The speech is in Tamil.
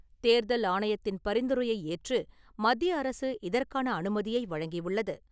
தேர்தல் ஆணையத்தின் பரிந்துரையை ஏற்று மத்திய அரசு இதற்கான அனுமதியை வழங்கியுள்ளது.